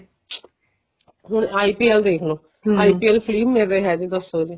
ਹੁਣ IPL ਦੇਖਲੋ IPL free ਮਿਲ ਰਿਹਾ ਦੱਸੋ ਜੀ